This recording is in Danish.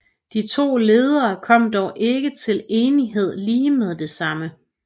De to ledere kom dog ikke til enighed lige med det samme